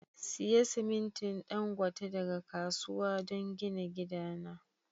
Siya siminti Dangote daga kasuwa don gina gidana.